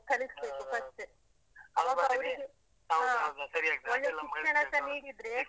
.